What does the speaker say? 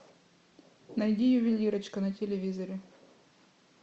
найди ювелирочка на телевизоре